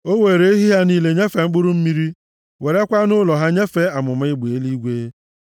O weere ehi ha niile nyefee mkpụrụ mmiri, werekwa anụ ụlọ ha nyefee amụma egbe eluigwe.